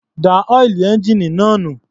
Dá ọ́ìlì ẹ́ńjíìnì náà nù.